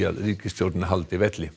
að ríkisstjórnin haldi velli